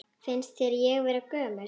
Finnst þér ég vera gömul?